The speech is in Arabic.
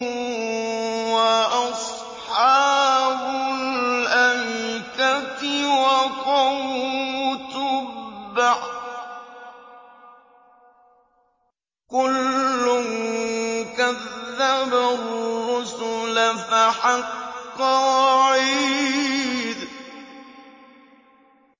وَأَصْحَابُ الْأَيْكَةِ وَقَوْمُ تُبَّعٍ ۚ كُلٌّ كَذَّبَ الرُّسُلَ فَحَقَّ وَعِيدِ